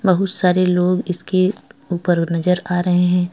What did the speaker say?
बहुत सारे लोग इसके ऊपर नजर आ रहे हैं।